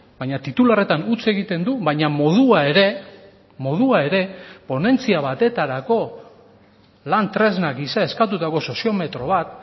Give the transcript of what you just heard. baina titularretan utz egiten du baina modua ere modua ere ponentzia batetarako lan tresna gisa eskatutako sozio metro bat